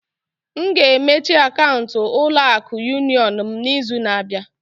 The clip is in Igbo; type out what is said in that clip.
M ga-emechi akaụntụ ulo akụ Yunion m n'izu na-abịa.